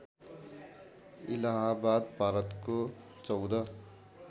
इलाहाबाद भारतको १४